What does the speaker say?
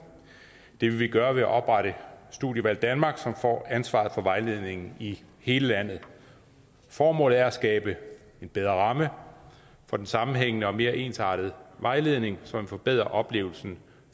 det vil vi gøre ved at oprette studievalg danmark som får ansvaret for vejledningen i hele landet formålet er at skabe en bedre ramme for den sammenhængende og mere ensartede vejledning som forbedrer oplevelsen